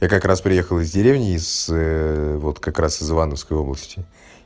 я как раз приехал из деревни из вот как раз из ивановской области